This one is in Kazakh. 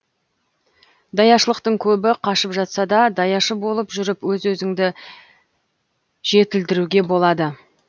даяшылықтан көбі қашып жатса да даяшы болып жүріп өз өзіңізді жетілдіруіңізге болады